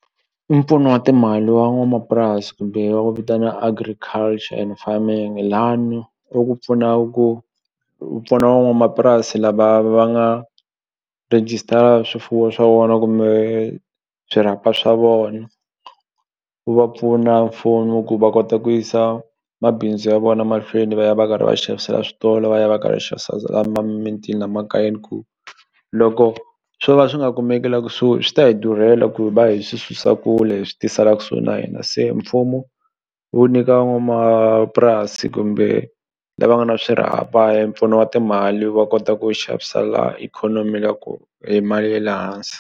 Mpfuno wa timali wa n'wamapurasi kumbe wa ku vitana agriculture and farming lani u ku pfuna ku wu pfuna van'wamapurasi lava va nga register swifuwo swa vona kumbe swirhapa swa vona wu va pfuna mfumo ku va kota ku yisa mabindzu ya vona mahlweni va ya va karhi va xavisela switolo va ya va karhi xavisa mintini la makayeni ku loko swo ka swi nga kumeki la kusuhi swi ta hi durhela ku hi va hi swi susa kule hi swi tisa la kusuhi na hina se mfumo wu nyika van'wamapurasi kumbe lava nga na swirhapa mpfuno wa timali va kota ku xavisela ikhonomi ya ku hi mali ya le hansi.